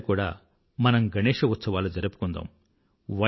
ఈసారి కూడా మనం గణేశ ఉత్సవాలు జరుపుకుందాం